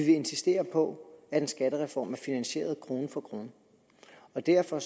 insistere på at en skattereform er finansieret krone for krone derfor